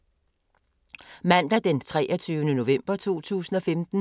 Mandag d. 23. november 2015